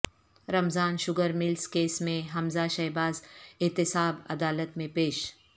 رمضان sugar mills case میں حمزہ شہباز احتساب عدالت میں پیش